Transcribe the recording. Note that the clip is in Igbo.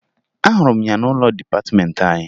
Ahụrụ m ya n'ụlọ dịpatịmeentị anyị